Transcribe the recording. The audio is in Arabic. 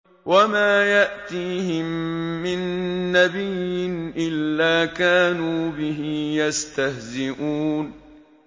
وَمَا يَأْتِيهِم مِّن نَّبِيٍّ إِلَّا كَانُوا بِهِ يَسْتَهْزِئُونَ